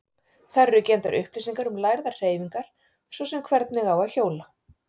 Þar eru geymdar upplýsingar um lærðar hreyfingar, svo sem hvernig á að hjóla.